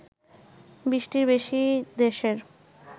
২০টির বেশি দেশের